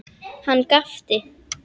Hann gapti.